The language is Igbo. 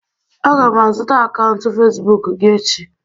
Aga m azụta akaụntụ Facibụkụ gị echi